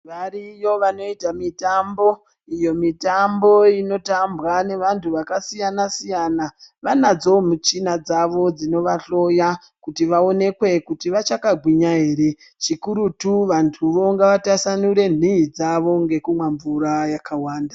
Variyo vanoita mitambo, iyo mitambo inotambwa nevantu vakasiyana-siyana, vanadzowo michina dzavo dzinovahloya vaonekwe kuti vachakagwinya ere zvikurutu vantuwo ngavatasanure nhii dzavo ngekumwe mvura yakawanda.